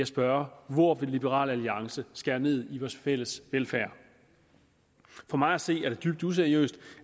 spørge hvor vil liberal alliance skære ned i vores fælles velfærd for mig at se er det dybt useriøst